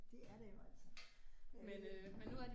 Det er der jo altså men øh